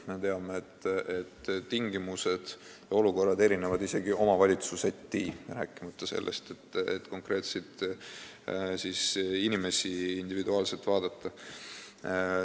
Me teame, et tingimused ja olukorrad erinevad isegi omavalitsuseti, rääkimata sellest, et konkreetseid inimesi tuleks individuaalselt vaadata.